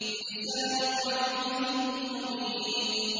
بِلِسَانٍ عَرَبِيٍّ مُّبِينٍ